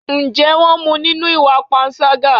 Ǹjẹ́ wón mú nínú ìwà panṣágà?